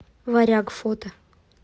варяг фото